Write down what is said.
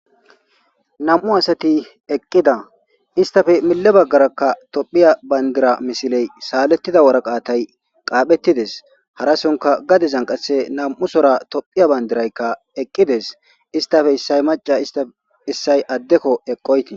nam7u asati eqqida istafe mille baggarakka tophiya bandira misiley saalettida woraqaatay qaaphettides harasonka gadezan qasse nam7u sora tophiya bandiraykka eqqides istafe issay maca istafe issay addeko eqqoyti